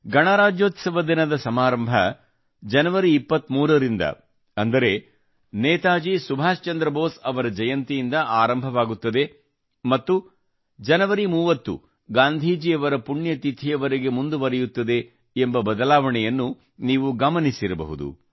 ಗಣರಾಜ್ಯೋತ್ಸವ ದಿನದ ಸಮಾರಂಭ ಜನವರಿ 23 ರಿಂದ ಅಂದರೆ ನೇತಾಜಿ ಸುಭಾಶ್ ಚಂದ್ರ ಬೋಸ್ ಅವರ ಜಯಂತಿಯಿಂದ ಆರಂಭವಾಗುತ್ತದೆ ಮತ್ತು ಜನವರಿ 30 ಗಾಂಧೀಜಿಯವರ ಪುಣ್ಯತಿಥಿವರೆಗೆ ಮುಂದುವರಿಯುತ್ತದೆ ಎಂಬ ಬದಲಾವಣೆಯನ್ನು ನೀವು ಗಮನಿಸಿರಬಹುದು